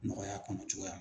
Nɔgɔya kɔnɔ cogoya m